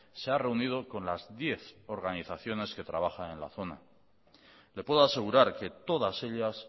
se ha reunido con las diez organizaciones que trabajan en la zona le puedo asegurar que todas ellas